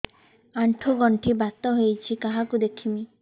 ଆଣ୍ଠୁ ଗଣ୍ଠି ବାତ ହେଇଚି କାହାକୁ ଦେଖାମି